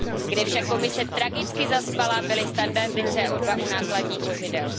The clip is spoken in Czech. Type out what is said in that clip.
Kde však Komise tragicky zaspala, byly standardy CO2 u nákladních vozidel.